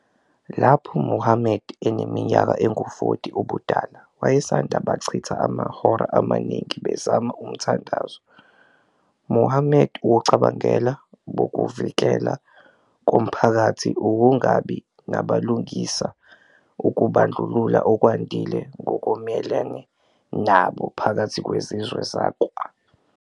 Lapho Muhammad eneminyaka engu-40 ubudala, wayesanda bachitha amahora amaningi bezama uzama umthandazo. Muhammad ukucabangela bokuvukela komphakathi, ukungabi nabulungisa, ukubandlulula okwandile ngokumelene nabo phakathi kwezizwe zakwa.